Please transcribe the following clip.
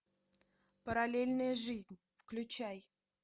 параллельная жизнь включай